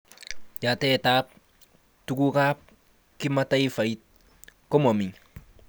Yatetab tugukab kimataifait komami